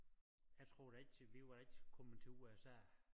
Jeg tror da ikke til vi var ikke kommet til USA